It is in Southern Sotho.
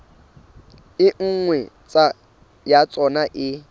e nngwe ya tsona e